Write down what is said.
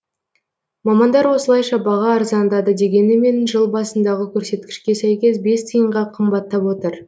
мамандар осылайша баға арзандады дегенімен жыл басындағы көрсеткішке сәйкес бес тиынға қымбаттап отыр